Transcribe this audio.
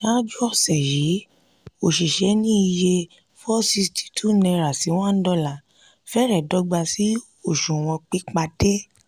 ṣáájú ọ̀sẹ̀ yìí òṣìṣẹ́ ní iye n462/$1 fẹ̀rẹ̀ dọ́gba sí òṣùwọ̀n pípadé